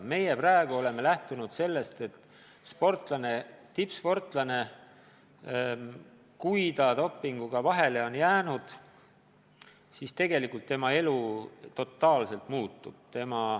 Meie praegu oleme lähtunud sellest, et kui tippsportlane on dopinguga vahele jäänud, siis tegelikult tema elu totaalselt muutub.